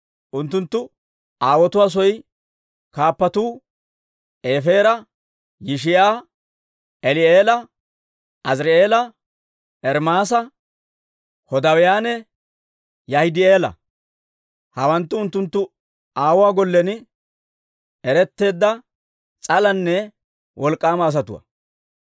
Unttunttu aawotuwaa soy kaappatuu Efeera, Yishi'a, Eli'eela, Aziri'eela, Ermaasa, Hodaawiyaanne Yaahidi'eela. Hawanttu unttunttu aawuwaa gollen eretteedda, s'alanne wolk'k'aama asatuwaa.